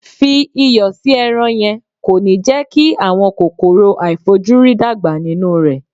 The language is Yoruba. Fi iyọ̀ sí ẹran yẹn, kò ní jẹ́ kí àwọn kòkòrò aàìfojúrí dàgbà nínú rẹ̀.